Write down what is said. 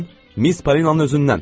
Miss Polinanın özündən.